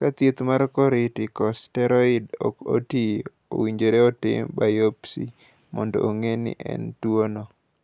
Ka thieth mar kortikosteroid ok tiyo, owinjore otim biopsy mondo ong’e ni en gi tuwono.